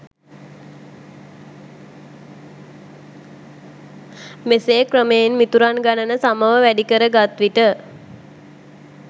මෙසේ ක්‍රමයෙන් මිතුරන් ගණන සමව වැඩිකර ගත්විට